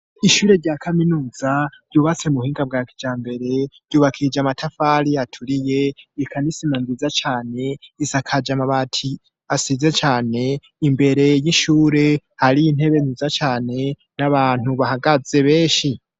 Ishure rya kaminuza ry'ububase mu bhinga bwa kija mbere yubakije amatafari aturiye ikanisima nziza cane isakaje amabati asize cane imbere y'ishure hari intebe nziza cane n'abantu bahagaze benshi.